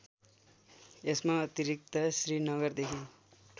यसका अतिरिक्त श्रीनगरदेखि